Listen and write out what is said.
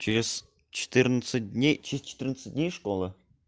через четырнадцать дней через четырнадцать дней школа